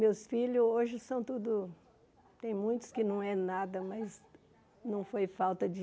Meus filhos hoje são tudo... tem muitos que não é nada, mas não foi falta de...